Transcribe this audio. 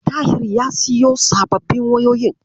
Tahir ya siyo sababbin wayoyin.